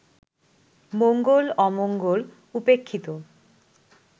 মঙ্গল-অমঙ্গল উপেক্ষিত